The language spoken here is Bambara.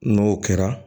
N'o kɛra